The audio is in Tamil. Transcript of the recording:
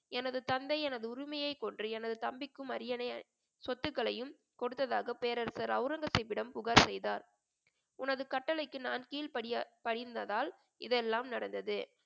எனது தந்தை எனது உரிமையை கொன்று எனது தம்பிக்கும் அரியணை சொத்துக்களையும் கொடுத்ததாக பேரரசர் அவுரங்கசீப்பிடம் புகார் செய்தார் உனது கட்டளைக்கு நான் கீழ்படிய~ படிந்ததால் இதெல்லாம் நடந்தது